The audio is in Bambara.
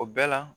O bɛɛ la